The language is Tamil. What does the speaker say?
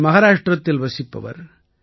இவர் மஹாராஷ்டிரத்தில் வசிப்பவர்